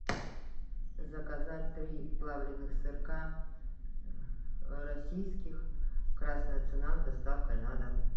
заказать три плавленных сырка российских красная цена с доставкой на дом